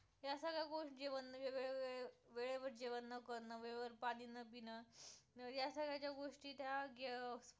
वेळेवर जेवण न करणं, वेळेवर पाणी ना पिणं, या सगळ्या ज्या गोष्टी त्या sports